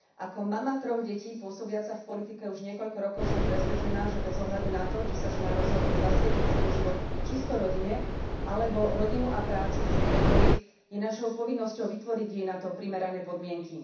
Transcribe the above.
Ako mama troch detí pôsobiaca v politike už niekoľko rokov som presvedčená, že bez ohľadu na to, či sa žena rozhodne zasvätiť svoj život čisto rodine alebo rodinu a prácu chce prepojiť, je našou povinnosťou vytvoriť jej na to primerané podmienky.